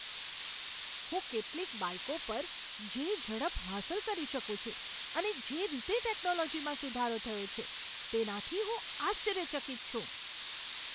હું કેટલીક બાઈકો પર જે ઝડપ હાંસલ કરી શકું છું અને જે રીતે ટેકનોલોજીમાં સુધારો થયો છે, તેનાથી હું આશ્ચર્યચકિત છું.